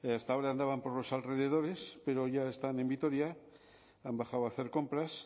hasta ahora andaban por los alrededores pero ya están en vitoria han bajado a hacer compras